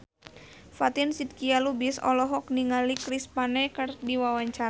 Fatin Shidqia Lubis olohok ningali Chris Pane keur diwawancara